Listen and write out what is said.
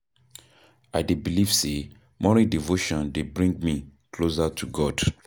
I dey believe say morning devotion dey bring me closer to God.